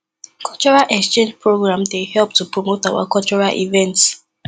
cultural exchange program dey help to promote our cultural events